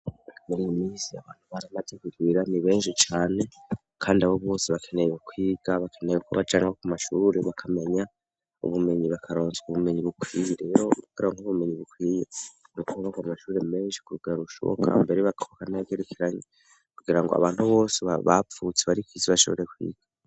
miriyi minsi abantu bari amaze kirwira ni benshi cane kandi abo bose bakeneye bukwiga bakeneye uko bajanwa ku mashurure bakamenya ubumenyi bakaronshwa ubumenyi bukwiye rero ukara nk'ubumenyi bukwiye mukoba ku amashurure menshi kurugara rushoboka mbere bakubaka naya gerekeranye kugira ngo abantu bose bavutse bose bashobore kwiga